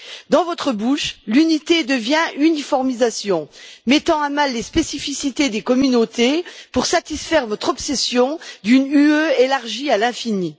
Dans votre bouche, l'unité devient uniformisation, mettant à mal les spécificités des communautés pour satisfaire votre obsession d'une UE élargie à l'infini.